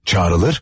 Çağrılır.